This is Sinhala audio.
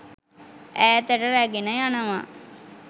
ඈතට රැගෙන යනවා.